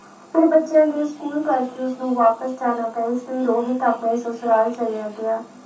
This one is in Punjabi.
ਫਿਰ ਬੱਚਿਆਂ ਦੇ ਸਕੂਲ ਕਰਕੇ ਉਸਨੂੰ ਵਾਪਿਸ ਜਾਣਾ ਇਸ ਲਈ ਰੋਹਿਤ ਆਪਣੇ ਸਸੂਰਲ ਚੱਲਿਆ ਗਿਆ